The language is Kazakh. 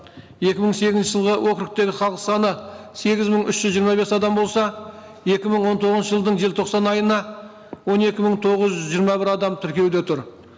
екі мың сегізінші жылғы округтегі халық саны сегіз мың үш жүз жиырма бес адам болса екі мың он тоғызыншы жылдың желтоқсан айына он екі мың тоғыз жүз жиырма бір адам тіркеуде тұр